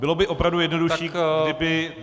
Bylo by opravdu jednodušší, kdyby -